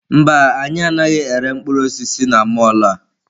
Mba, anyị anaghị ere mkpụrụ osisi na mọlụ a.